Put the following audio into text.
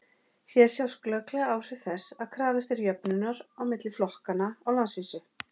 hér sjást glögglega áhrif þess að krafist er jöfnunar milli flokkanna á landsvísu